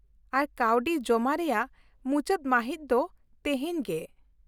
-ᱟᱨ ᱠᱟᱹᱣᱰᱤ ᱡᱚᱢᱟ ᱨᱮᱭᱟᱜ ᱢᱩᱪᱟᱹᱫ ᱢᱟᱹᱦᱤᱛ ᱫᱚ ᱛᱤᱦᱤᱧ ᱜᱮ ᱾